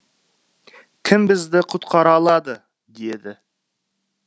кім бізді құтқара алады деді